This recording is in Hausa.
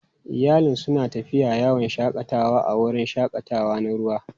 Iyalin suna tafiya yawon shakatawa a wurin shakatawa na ruwa.